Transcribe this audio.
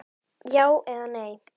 Já eða nei?